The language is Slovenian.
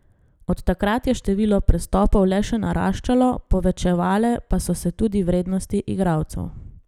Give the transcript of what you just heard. Od takrat je število prestopov le še naraščalo, povečevale pa so se tudi vrednosti igralcev.